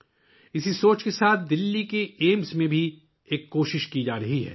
اسی سوچ کے ساتھ دلّی کے ایمس میں بھی کوشش کی جا رہی ہے